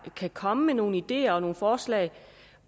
kan komme med nogle ideer og forslag